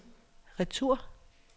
retur